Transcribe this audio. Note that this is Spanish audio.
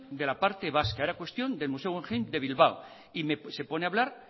de la parte vasca era cuestión del museo guggenheim de bilbao y se pone a hablar